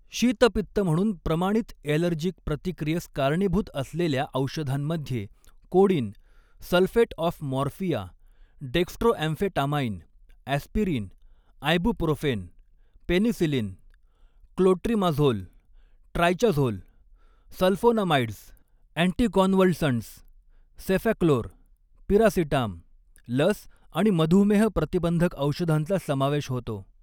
शीतपित्त म्हणून प्रमाणित ॲलर्जीक प्रतिक्रियेस कारणीभूत असलेल्या औषधांमध्ये codeine, sulphate of morphia, dextroamphetamine, aspirin, ibuprofen, penicillin, clotrimazole, ट्रायचाझोल, सल्फोनामाइड्स, अँटीकॉनव्हलसंट्स, सेफॅक्लोर, पिरासिटाम, लस आणि मधुमेह प्रतिबंधक औषधांचा समावेश होतो.